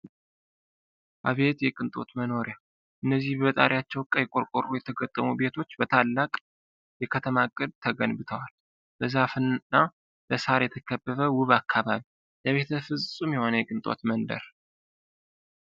አቤት የቅንጦት መኖሪያ! እነዚህ በጣሪያቸው ቀይ ቆርቆሮ የተገጠሙ ቤቶች! በታላቅ የከተማ ዕቅድ ተገንብተዋል። በዛፍና በሣር የተከበበ ውብ አካባቢ! ለቤተሰብ ፍጹም የሆነ የቅንጦት መንደር!